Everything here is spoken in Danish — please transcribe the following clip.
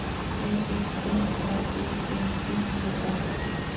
A F B R Æ N D E R